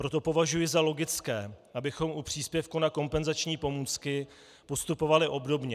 Proto považuji za logické, abychom u příspěvku na kompenzační pomůcky postupovali obdobně.